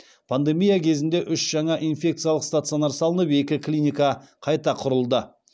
пандемия кезінде үш жаңа инфекциялық стационар салынып екі клиника қайта құрылды